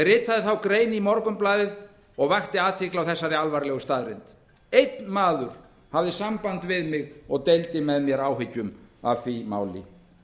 ritaði þá grein í morgunblaðið og vakti athygli á þessari alvarlegu staðreynd einn maður hafði samband við mig og deildi með mér áhyggjum af því máli